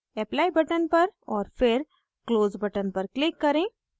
apply button पर और फिर close button पर click करें